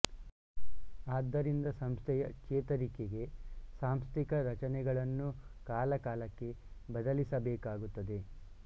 ಆದ್ದರಿಂದ ಸಂಸ್ಥೆಯ ಚೇತರಿಕೆಗೆ ಸಾಂಸ್ಥಿಕ ರಚನೆಗಳನ್ನು ಕಾಲ ಕಾಲಕ್ಕೆ ಬಲಿಸಬೇಕಾಗುತ್ತದೆ